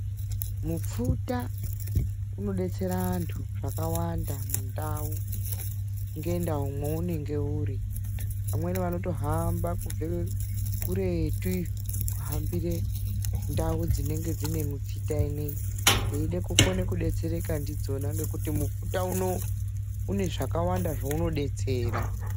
Mupfuta unodetsera antu zvakawanda mundau ngendau mwounenge uri. Amweni vanotohamba kubva kuretu iyo kuhambire ndau dzinenge dzine mipfuta inoii. Veide kukone kudetsereka ndidzona ngokuti mupfuta unouu une zvakawanda zvounodetsera.